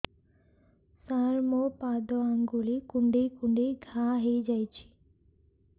ସାର ମୋ ପାଦ ଆଙ୍ଗୁଳି କୁଣ୍ଡେଇ କୁଣ୍ଡେଇ ଘା ହେଇଯାଇଛି